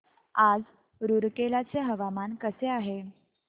आज रूरकेला चे हवामान कसे आहे